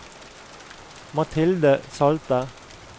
Mathilde Salte